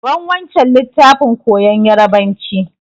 Ban wancan littafin koyan yarbanci!